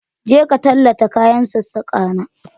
Je ka talla ta kayan sassaka na